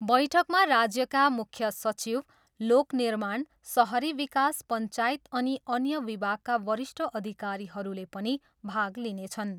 बैठकमा राज्यका मुख्य सचिव, लोक निर्माण, सहरी विकास, पञ्चायत अनि अन्य विभागका वरिष्ठ अधिकारीहरूले पनि भाग लिनेछन्।